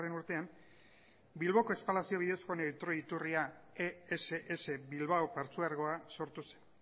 urtean bilboko espalazio bidezkoen neutroi iturria ess bilbao partzuergoa sortu zen